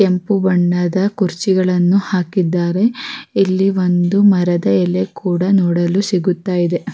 ಕೆಂಪು ಬಣ್ಣದ ಕುರ್ಚಿಗಳನ್ನು ಹಾಕಿದ್ದಾರೆ ಇಲ್ಲಿ ಒಂದು ಮರದ ಎಲೆ ಕೂಡ ನೋಡಲು ಸಿಗುತ್ತಾ ಇದೆ.